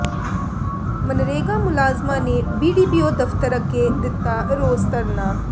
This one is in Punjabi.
ਮਨਰੇਗਾ ਮੁਲਾਜ਼ਮਾਂ ਨੇ ਬੀਡੀਪੀਓ ਦਫ਼ਤਰ ਅੱਗੇ ਦਿੱਤਾ ਰੋਸ ਧਰਨਾ